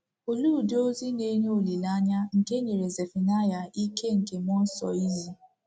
Olee udi ozi na-enye olileanya ka e nyere Zefanaịa ike nke mmụọ nsọ izi?